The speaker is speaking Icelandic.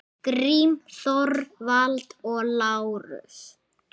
Grím, Þorvald og Lárus.